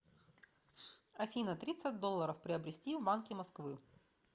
афина тридцать долларов приобрести в банке москвы